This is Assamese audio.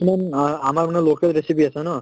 আ~ আমাৰ মানে local recipe আছে ন